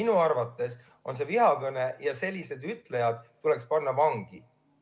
Minu arvates on see vihakõne ja sellised ütlejad tuleks panna vangi.